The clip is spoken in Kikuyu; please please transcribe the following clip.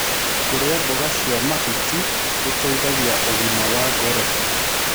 Kũrĩa mmboga cia mahũtĩ gũteĩthagĩa ũgima wa ngoro